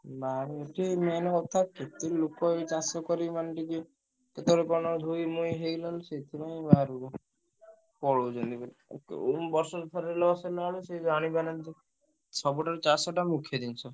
ନାଇଁ ଏଠି main କଥା କେତେ ଲୋକ ଏଇ ଚାଷ କରିବେ ମାନେ ଟିକେ କେତବେଳେ କଣ ଧୋଇ ମୋଇ ହେଇଗଲା ବେଳୁ ସେଥି ପାଇଁ ବାହାରକୁ ପଳଉଛନ୍ତି। ଉଁ ବର୍ଷକୁ ଥରେ ନ ସରିଲା ବେଳକୁ ସେ ଜାଣିପାରୁନାହାନ୍ତି ସବୁଠାରୁ ଚାଷଟା ମୁଖ୍ୟ ଜିନିଷ।